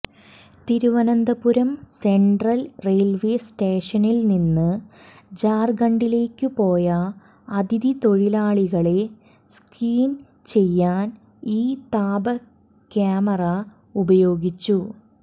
Thiruvananthapuram central railway സ്റ്റേഷനിൽനിന്ന് ജാർഖണ്ഡിലേക്കുപോയ അതിഥിതൊഴിലാളികളെ സ്ക്രീൻ ചെയ്യാൻ ഈ താപക്യമാറ ഉപയോഗിച്ചു